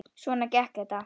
Svona gekk þetta.